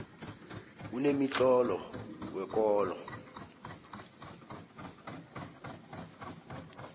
kunemitlolo wekolo